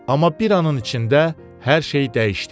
Amma bir anın içində hər şey dəyişdi.